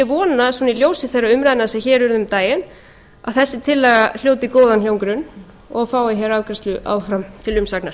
vona í ljósi þeirra umræðna sem hér urðu um daginn að þessi tillaga hljóti góðan hljómgrunn og fái hér afgreiðslu áfram til umsagnar